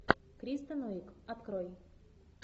кристен уиг открой